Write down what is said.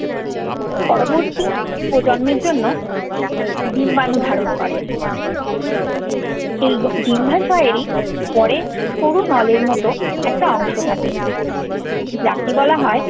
পরবর্তী প্রজন্মের জন্য ডিম্বাণু ধারণ করে। এই ডিম্বাশয়েরই পরে সরু নলের মত একটা অংশ থাকে যাকে বলা হয়